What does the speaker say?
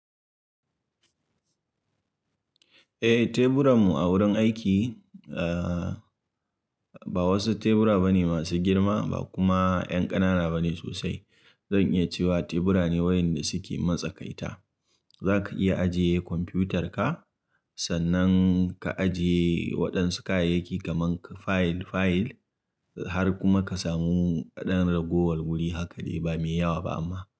Eh, teburan mu a wurin aiki, ah, ba wasu tebura bane masu girma ba kuma 'yan ƙanana bane sosai. Zan iya cewa tebura ne wayanda suke matsakaita. Zaka iya ajiye kwamfiyutar ka, sannan ka ajiye waɗansu kayayyaki gaman ka, fayil fayil, har kuma ka samu ɗan ragowar wuri hakali ba mai yawa ba amma.